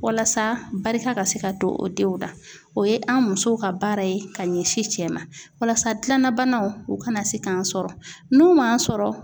Walasa barika ka se ka don o denw na ,o ye an musow ka baara ye ka ɲɛsin cɛ ma walasa gilanna banaw, u kana se k'an sɔrɔ n'u m'an sɔrɔ